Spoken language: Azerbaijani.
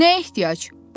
Nə ehtiyac?